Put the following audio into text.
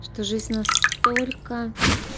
что жизнь настолько